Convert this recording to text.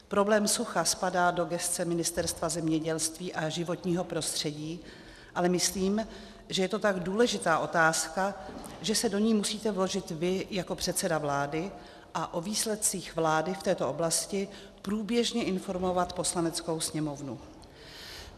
Problém sucha spadá do gesce Ministerstva zemědělství a životního prostředí, ale myslím, že je to tak důležitá otázka, že se do ní musíte vložit vy jako předseda vlády a o výsledcích vlády v této oblasti průběžně informovat Poslaneckou sněmovnu.